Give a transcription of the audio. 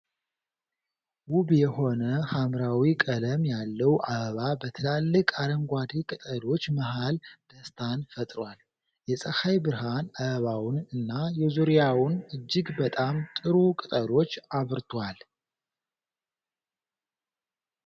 ውብ የሆነ ሐምራዊ ቀለም ያለው አበባ በትላልቅ አረንጓዴ ቅጠሎች መሃል ደስታን ፈጥሯል። የፀሐይ ብርሃን አበባውን እና የዙሪያውን እጅግ በጣም ጥሩ ቅጠሎች አብርቷል።